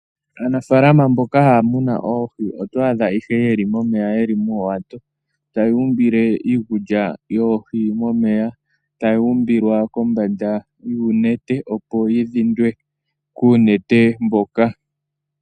Aanafaalama mboka haamunu oohi oto adha ihe yeli momeya yeli moowato tayuumbile iikulya yoohi momeya, tayi umbilwa kombanda yuunete opo yi dhindwe kuunete mboka.